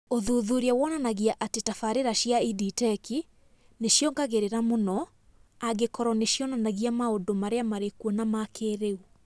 Ũthuthuria wonanagia atĩ tabarĩra cia EdTech nĩ ciongagĩrĩra mũno angĩkorũo nĩ cionaga maũndũ marĩa marĩ kuo ma kĩĩrĩu